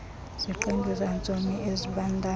ziqendu zantsomi ezibandayo